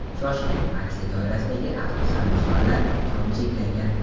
Shoshiling – aksiya doirasidagi avtosamosvallar soni cheklangan.